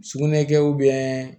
Sugunɛ kɛ